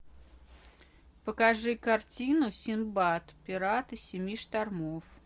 покажи картину синдбад пираты семи штормов